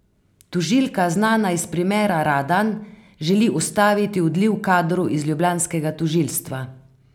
Tožilka, znana iz primera Radan, želi ustaviti odliv kadrov z ljubljanskega tožilstva.